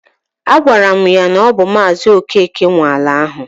Agwara ya na ọ bụ maazi Okeke nwe ala ahụ